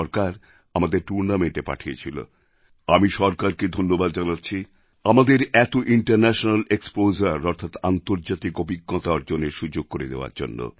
সরকার আমাদের টুর্ণামেন্টে পাঠিয়েছিল আমি সরকারকে ধন্যবাদ জানাচ্ছি কারণ তারা আমাদের এত ইন্টারন্যাশনাল এক্সপোজার অর্থাৎ আন্তর্জাতিক অভিজ্ঞতা অর্জনের সুযোগ করে দেওয়ার জন্য